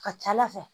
Ka ca ala fɛ